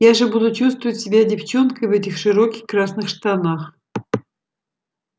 я же буду чувствовать себя девчонкой в этих широких красных штанах